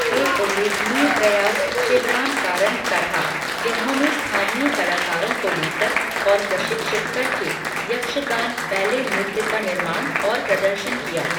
एक उल्लेखनीय प्रयास शिवराम कारंत का था, जिन्होंने स्थानीय कलाकारों को लेकर और प्रशिक्षित कर के यक्षगान बैले नृत्य का निर्माण और प्रदर्शन किया।